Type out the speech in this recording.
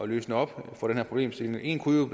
løse op for den her problemstilling en kunne jo